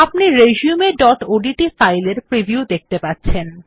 আপনি resumeওডিটি ফাইলের প্রিভিউ দেখতে পাচ্ছেন